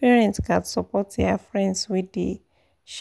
parents gats support their friends wey dey